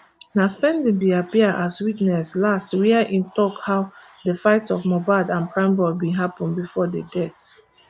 na spending bin appear as witness last wia im tok how di fight of mohbad and primeboy bin happun bifor di death